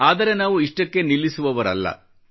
ಆದರೆ ನಾವು ಇಷ್ಟಕ್ಕೇ ನಿಲ್ಲಿಸುವವರಲ್ಲ